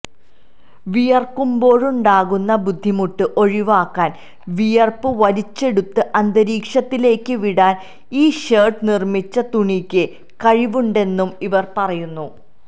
വിയര്ക്കുമ്പോഴുണ്ടാകുന്ന ബുദ്ധിമുട്ട് ഒഴിവാക്കാന് വിയര്പ്പ് വലിച്ചെടുത്ത് അന്തരീക്ഷത്തിലേക്ക് വിടാന് ഈ ഷര്ട്ട് നിര്മ്മിച്ച തുണിയ്ക്ക് കഴിവുണ്ടെന്നും ഇവര് പറയുന്നു